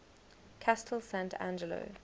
castel sant angelo